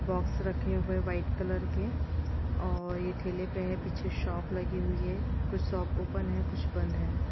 Box रखे हुए है वाइट कलर के और ये ठेले पे है पीछे शॉप लगी हुई है कुछ शॉप ओपन है कुछ बंद है।